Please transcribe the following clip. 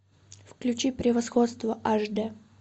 включи превосходство аш д